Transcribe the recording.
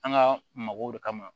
An ka mɔgɔw de kama